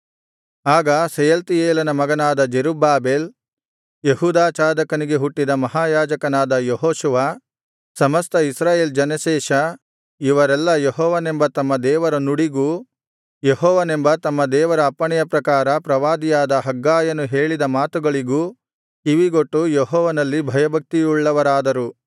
ಆಗ ಶೆಯಲ್ತೀಯೇಲನ ಮಗನಾದ ಜೆರುಬ್ಬಾಬೆಲ್ ಯೆಹೋಚಾದಾಕನಿಗೆ ಹುಟ್ಟಿದ ಮಹಾಯಾಜಕನಾದ ಯೆಹೋಶುವ ಸಮಸ್ತ ಇಸ್ರಾಯೇಲ್ ಜನಶೇಷ ಇವರೆಲ್ಲಾ ಯೆಹೋವನೆಂಬ ತಮ್ಮ ದೇವರ ನುಡಿಗೂ ಯೆಹೋವನೆಂಬ ತಮ್ಮ ದೇವರ ಅಪ್ಪಣೆಯ ಪ್ರಕಾರ ಪ್ರವಾದಿಯಾದ ಹಗ್ಗಾಯನು ಹೇಳಿದ ಮಾತುಗಳಿಗೂ ಕಿವಿಗೊಟ್ಟು ಯೆಹೋವನಲ್ಲಿ ಭಯಭಕ್ತಿಯುಳ್ಳವರಾದರು